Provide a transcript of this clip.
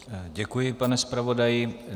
Děkuji, pane zpravodaji.